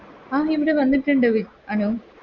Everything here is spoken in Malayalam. ആ ഇവിടെ വന്നിട്ട്ണ്ട് വ് അനു